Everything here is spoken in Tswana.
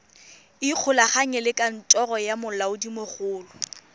ikgolaganye le kantoro ya molaodimogolo